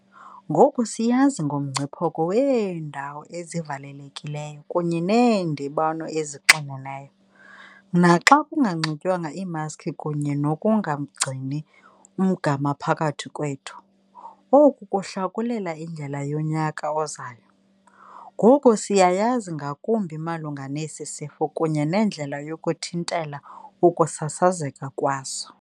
Ngoku siyazi ngomngcipheko weendawo ezivalelekileyo kunye neendibano ezixineneyo, naxa kunganxitywanga iimaskhi kunye nokungagcini umgama phakathi kwethu. Oku kuhlakulela indlela yonyaka ozayo. Ngoku siyayazi ngakumbi malunga nesi sifo kunye nendlela yokuthintela ukusasazeka kwaso.